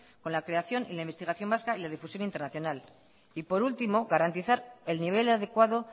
con la creación y la investigación vasca y la difusión internacional y por último garantizar el nivel adecuado